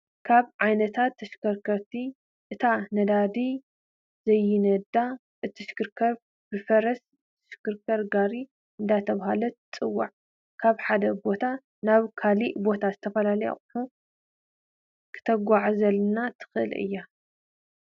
ካብ ዓይነታት ተሽከርከርቲ እታ ነዳዲ ዘይዳዲ እትሽክርከር ብፈረስ ዝሽክር ጋሪ እንዳተባሀለት ትፅዋዕ ካብ ሓደ ቦታ ናብ ካሊእ ቦታ ዝተፈላለዩ ኣቁሑት ክተጉዓዕዘልና እትክእል እያ።